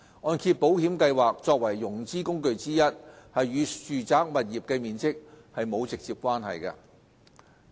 按保計劃作為融資工具之一，與住宅物業的面積沒有直接關係。